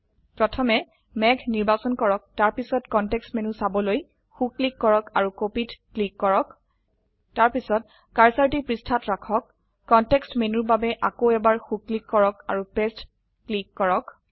প্ৰথমে মেঘ নিৰ্বাচন কৰক তাৰপিছত কনটেক্সট মেনু চাবলৈ সো ক্লিক কৰক আৰু copyত ক্লিক কৰাক তাৰপিছতকাৰ্সাৰটি পৃষ্ঠাত ৰাখক কনটেক্সট মেনুৰ বাবে আকৌ এবাৰ সো ক্লিক কৰক আৰু পাঁচতে ক্লিক কৰক